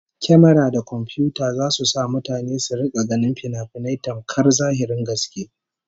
Kyamara da komfiyuta zasu sa mutane su rika ganin finafinai tamkar zahirin gaske